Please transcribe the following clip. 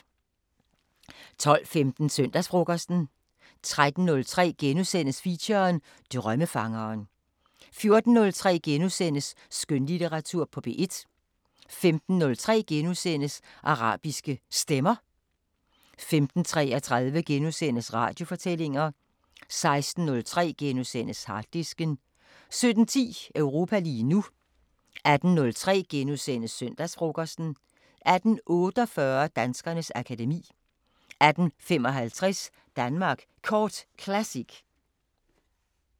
12:15: Søndagsfrokosten 13:03: Feature: Drømmefangeren * 14:03: Skønlitteratur på P1 * 15:03: Arabiske Stemmer * 15:33: Radiofortællinger * 16:03: Harddisken * 17:10: Europa lige nu 18:03: Søndagsfrokosten * 18:48: Danskernes akademi 18:55: Danmark Kort Classic